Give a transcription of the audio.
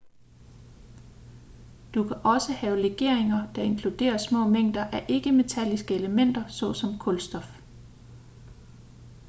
du kan også have legeringer der inkluderer små mængder af ikke-metalliske elementer såsom kulstof